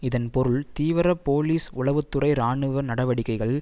இதன் பொருள் தீவிர போலிஸ் உளவு துறை இராணுவ நடவடிக்கைகள்